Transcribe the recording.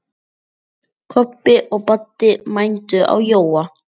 Kobbi og Baddi mændu á Jóa.